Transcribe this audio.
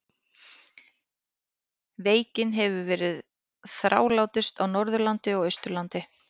Veikin hefur verið þrálátust á Norðurlandi og Austurlandi.